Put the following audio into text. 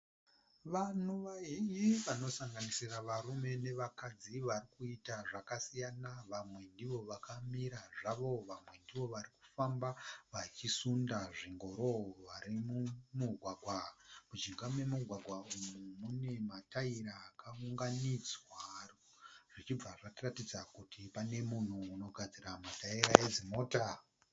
Vanhu vazhinji vanosanganisira varume nevakadzi vari kuita zvakasiyana. Vamwe ndivo vakamira zvavo vamwe ndivo vari kufamba vachisunda zvingoro vari mumugwagwa. Mujinga memugwagwa uyu mune mataira akaunganidzwa zvichibva zvatiratidza kuti pane munhu unogadzira mataira edzimota.